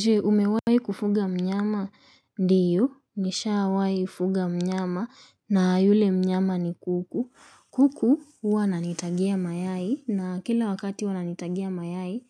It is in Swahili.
Je umewahi kufuga mnyama? Ndiyo nishawahi fuga mnyama na yule mnyama ni kuku kuku wananitagia mayai na kila wakati wananitagia mayai